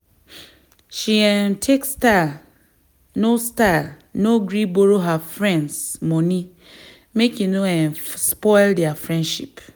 she um take style no style no gree borrow her friends moni make e no um spoil their friendship